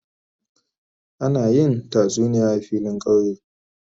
Ana yin tasuniya a filin kauye.